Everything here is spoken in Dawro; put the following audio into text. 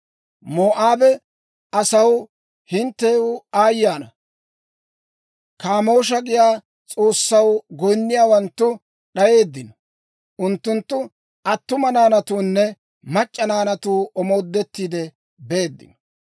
Moo'aaba asaw, hinttew aayye ana! Kaamoosha giyaa s'oossaw goyinniyaawanttu d'ayeeddino; unttunttu attuma naanatuunne mac'c'a naanatuu omoodettiide beeddino.